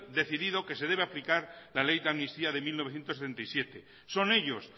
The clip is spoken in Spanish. decidido que se debe aplicar la ley de amnistía de mil novecientos setenta y siete son ellos